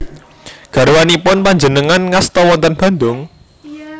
Garwanipun panjenengan ngasta wonten Bandung?